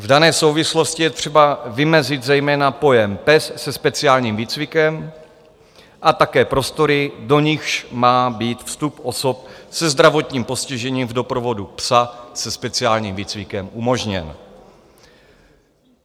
V dané souvislosti je třeba vymezit zejména pojem pes se speciálním výcvikem a také prostory, do nichž má být vstup osob se zdravotním postižením v doprovodu psa se speciálním výcvikem umožněn.